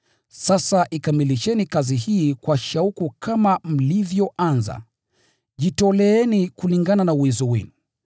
Sasa ikamilisheni kazi hii kwa shauku kama mlivyoanza, jitoleeni kulingana na uwezo wenu.